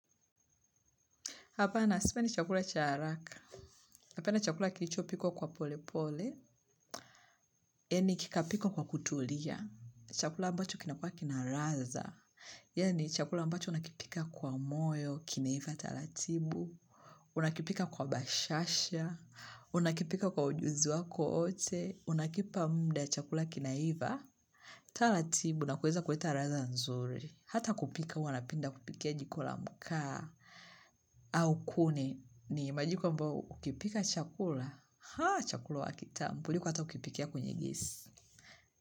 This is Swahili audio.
Hapana, sima ni chakula cha haraka. Napenda chakula kilichopikwa kwa pole pole. Yaani kikapikwa kwa kutulia. Chakula ambacho kinakuwa kina ladha. Yaani chakula ambacho nakipika kwa moyo, kinaiva taratibu. Unakipika kwa bashasha. Unakipika kwa ujuzi wako wote. Unakipa muda chakula kinaiva. Taratibu, na kuweza kuleta ladha nzuri. Hata kupika, huwa napenda kupikia jiko la mkaa. Au kuni ni majiko ambayo ukipika chakula chakula huwa kitamu kuliko hata ukipikia kwenye gesi.